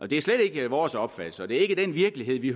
det er slet ikke vores opfattelse og det er ikke den virkelighed vi